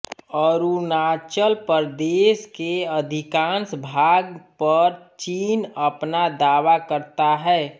अरुणाचल प्रदेश के अधिकांश भाग पर चीन अपना दावा करता है